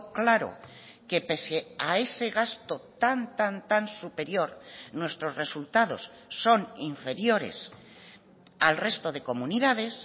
claro que pese a ese gasto tan tan tan superior nuestros resultados son inferiores al resto de comunidades